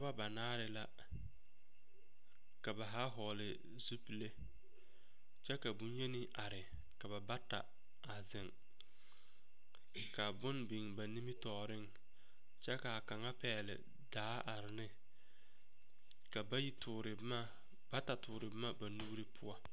Noba banaare la ka ba haa hɔgle zupile kyɛ ka bonyeni are ka ba bata a zeŋ ka bone biŋ ba nimitɔɔreŋ kyɛ ka kaŋa pɛgle daa are ne ka bayi toore boma bata toore boma ba nuuri poɔ.